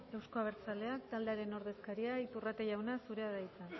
euzko abertzaleak taldearen ordezkaria iturrate jauna zurea da hitza